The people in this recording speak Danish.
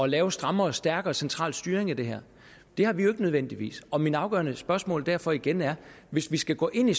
lave strammere og stærkere central styring af det her det har vi jo ikke nødvendigvis og mit afgørende spørgsmål er derfor igen hvis vi skal gå ind i